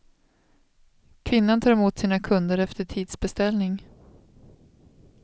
Kvinnan tar emot sina kunder efter tidsbeställning.